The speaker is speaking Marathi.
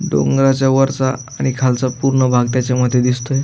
डोंगराच्या वरचा आणि खालचा पुर्ण भाग त्याच्या मधी दिसतोय.